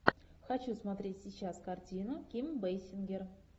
хочу смотреть сейчас картину ким бейсингер